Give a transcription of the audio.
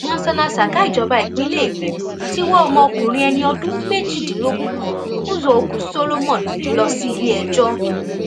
monsónà saka ìjọba ìpínlẹ èkó ti wọ ọmọkùnrin ẹni ọdún méjìdínlógún kan uzuokwu solomon lọ síléẹjọ